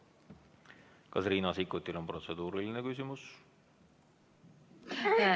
Kas Riina Sikkutil on protseduuriline küsimus?